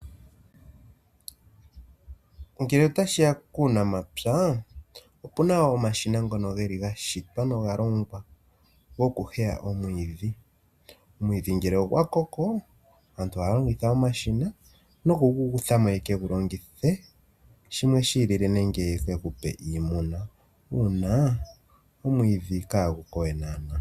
Ngele tashiya kuunamapya opuna wo omashina ngono geli gashitwa nawa noga longwa goku heya omwiidhi. Omwiidhi ngele ogwa koko aantu ohaya longitha omashina nokugu kuthamo ye kegu longithe shimwe shi ili le nenge ye ethe okupa iimuna uunaa omwiidhi kagu kowe naa na.